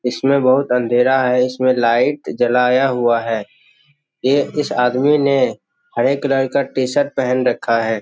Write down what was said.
इसमें बहुत अंधेरा है इसमें लाइट जलाया हुआ है ये इस आदमी ने हरे कलर का टी-शर्ट पेहेन रखा है।